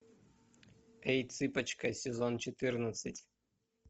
эй цыпочка сезон четырнадцать